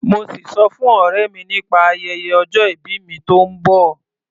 Mo sì sọ fún ọ̀rẹ́ mi nípa ayẹyẹ ọjọ ìbí mi tó ń bọ̀.